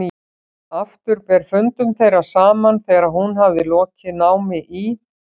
Aftur ber fundum þeirra saman þegar hún hafði lokið námi í